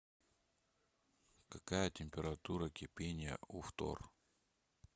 какая температура кипения у фтор